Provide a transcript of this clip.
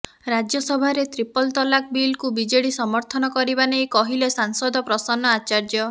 ରାଜ୍ୟସଭାରେ ତ୍ରିପଲ ତଲାକ୍ ବିଲକୁ ବିଜେଡି ସମର୍ଥନ କରିବା ନେଇ କହିଲେ ସାଂସଦ ପ୍ରସନ୍ନ ଆଚାର୍ଯ୍ୟ